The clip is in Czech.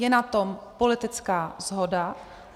Je na to politická shoda.